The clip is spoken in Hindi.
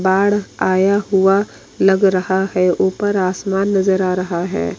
बाढ़ आया हुआ लग रहा है ऊपर आसमान नजर आ रहा है।